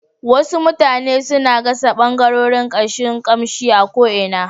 Wasu mutane suna gasa ɓangarorin kashin kamshi a ko'ina